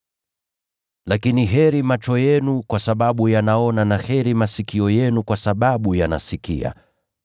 Lakini heri macho yenu kwa sababu yanaona, na heri masikio yenu kwa sababu yanasikia.